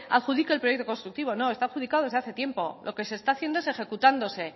adjudique el proyecto constructivo no está adjudicado desde hace tiempo lo que se está haciendo es ejecutándose